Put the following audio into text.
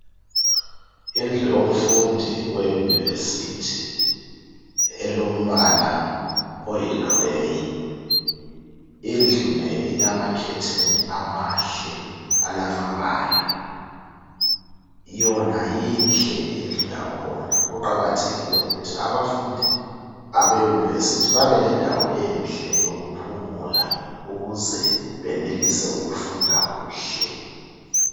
Indlu yomfundi weUniversity elombala oyiGrey indlu le ilamakhetheni amahle alamabala yona inhle indlu yakhona kuqakathekile ukuthi abafundi abeUniversity babe lendawo enhle yokuphumula ukuze benelise ukufunda kuhle.